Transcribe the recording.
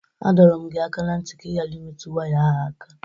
A dọrọ m gị aka na ntị ka ị ghara imetụ waya ahụ aka!